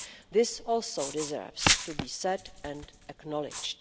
This also deserves to be said and acknowledged.